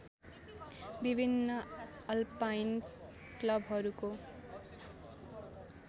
विभिन्न अल्पाइन क्लबहरूको